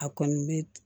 A kɔni bɛ